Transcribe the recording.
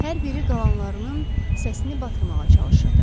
Hər biri qalanlarının səsini batırmağa çalışırdı.